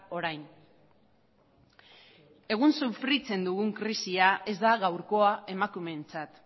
orain egun sufritzen dugun krisia ez da gaurkoa emakumeentzat